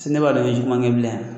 Si ne b'a dɔn n be juguman kɛ bilen a